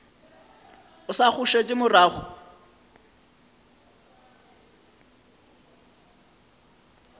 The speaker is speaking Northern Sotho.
o sa go šetše morago